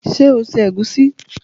Ṣé o se ègúsí?